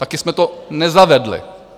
Taky jsme to nezavedli.